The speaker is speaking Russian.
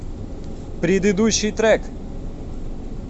предыдущий трек